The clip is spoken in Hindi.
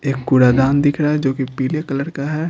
एक कुरादान दिख रहा है जो कि पीले कलर का है।